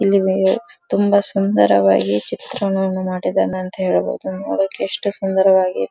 ಇಲ್ಲಿ ತುಂಬಾ ಸುಂದರವಾಗಿ ಚಿತ್ರಣವನ್ನು ಮಾಡಿದ್ದಾನೆ ಅಂತ ಹೇಳಬಹುದುದ್ ನೋಡ್ಲಿಕ್ಕೆ ಎಷ್ಟು ಸುನ್ದರವಾಗಿದೆ.